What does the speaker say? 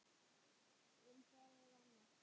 En það er annað.